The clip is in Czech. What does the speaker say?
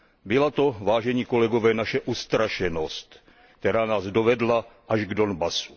Byla to, vážení kolegové, naše ustrašenost, která nás dovedla až k Donbasu.